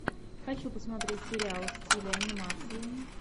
хочу посмотреть сериал в стиле анимации